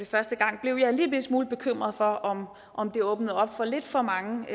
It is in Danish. første gang blev jeg en lillebitte smule bekymret for om om det åbnede op for lidt for mange